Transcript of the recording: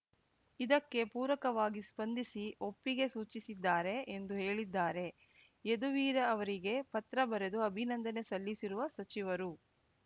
ಇದಕ್ಕೆ ಪೂರಕವಾಗಿ ಸ್ಪಂದಿಸಿ ಒಪ್ಪಿಗೆ ಸೂಚಿಸಿದ್ದಾರೆ ಎಂದು ಹೇಳಿದ್ದಾರೆ ಯದುವೀರ್‌ ಅವರಿಗೆ ಪತ್ರ ಬರೆದು ಅಭಿನಂದನೆ ಸಲ್ಲಿಸಿರುವ ಸಚಿವರು